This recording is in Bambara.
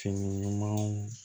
Fini ɲumanw